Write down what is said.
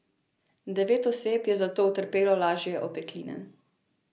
Devet oseb je zato utrpelo lažje opekline.